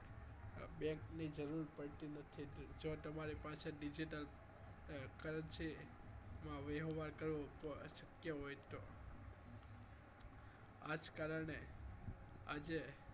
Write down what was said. Bank ની જરૂર પડતી નથી જો તમારી પાસે digital currency નો વહેવાર કરવો શક્ય હોય તો આ જ કારણે આજે